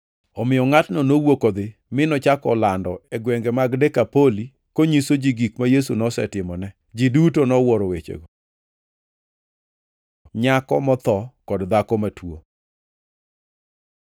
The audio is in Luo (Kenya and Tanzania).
Omiyo ngʼatno nowuok odhi mi nochako lando e gwenge mag Dekapoli konyiso ji gik ma Yesu nosetimone. Ji duto nowuoro wechego. Nyako motho kod dhako matuo